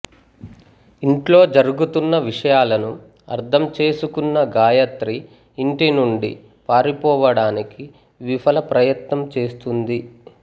ఇంట్లో జరుగుతున్న విషయాలను అర్థం చేసుకున్న గాయత్రి ఇంటి నుండి పారిపోవడానికి విఫల ప్రయత్నం చేస్తుంది